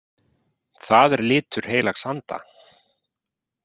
Það er litur heilags anda.